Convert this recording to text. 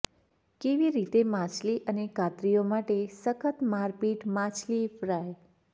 કેવી રીતે માછલી અને કાતરીઓ માટે સખત મારપીટ માછલી ફ્રાય